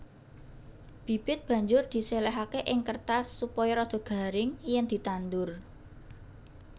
Bibit banjur diséléhaké ing kêrtas supaya rada garing yèn ditandur